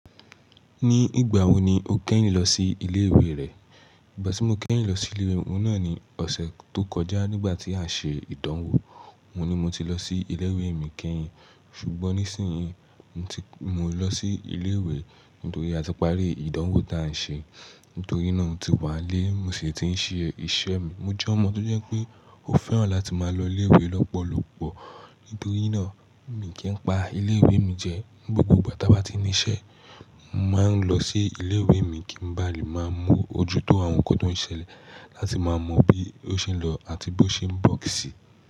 Ní ìgbà wo ni o kẹ́yin lọ sí ilé ìwé rẹ? Ìgbà tí mo kẹ́yin lọ sí ilé ìwé, òun náà ni ọ̀sẹ̀ tó kọjá nígbà tí à n ṣe ìdánwò. Òun ni mo ti lọ sí ilé ìwé mi kẹ́yin, ṣùgbọ́n nísìnyí mo ti, mo lọ sí ilé ìwé nítorí a ti parí ìdánwò tí à ń ṣe. Nítorí náà, mo ti wá n lé, mo sì ti ń ṣe iṣẹ́ mi. Mo jẹ́ ọmọ tó jẹ́ pé ó fẹ́ràn láti máa lọ ilé ìwé lọ́pọ̀lọpọ̀. Nítorí náà, mí n kì í pa ilé ìwé mi jẹ. Ni gbogbo ìgbà táa bá ti ní iṣẹ́, mo máa ń lọ sí ilé ìwé mi kí n ba lè máa mọ ojútó àwọn nǹkan tó ń ṣẹlẹ̀, láti máa mọ bí ó ṣe ń lọ àti bó ṣe ń bọ́ sì.